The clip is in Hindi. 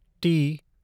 टी